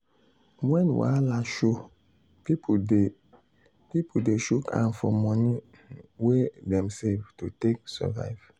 when wahala show people dey shook people dey shook hand for moni um wey dem save to take survive.